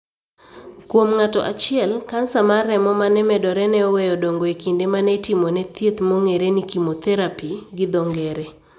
Kuom ng'ato achiel, kansa mar remo ma ne medore ne oweyo dongo e kinde ma ne itimone thiedh mong'ere ni chemotherapy gi dho ng'ere